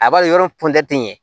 A b'a ye yɔrɔ tɛ ɲɛ